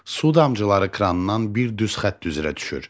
Su damcıları krandan bir düz xətt üzrə düşür.